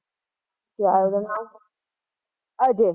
ਕਿਆ ਉਹਦਾ ਨਾਮ ਅਜੇ